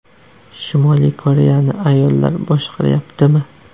Shimoliy Koreyani ayollar boshqaryaptimi?